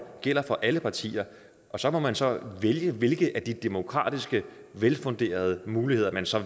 gælder for alle partier og så må man så vælge hvilke af de demokratiske og velfunderede muligheder man så